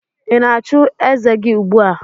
Ị na-achụ eze gi ugbua?